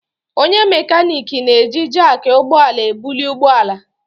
Onye mekaniiki na-eji jakị ụgbọ ala ebuli ụgbọ ala.